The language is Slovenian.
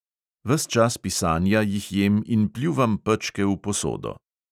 Ves čas pisanja jih jem in pljuvam pečke v posodo.